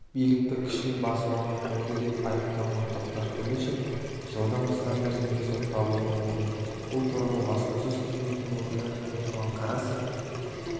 билікті күшпен басып алмақ болды деп айыпталған тоқтар төлешов жылдан астам мерзімге сотталуы мүмкін бұл туралы баспасөз қызметінің өкілі руслан карасев